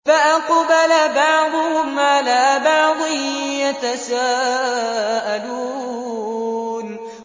فَأَقْبَلَ بَعْضُهُمْ عَلَىٰ بَعْضٍ يَتَسَاءَلُونَ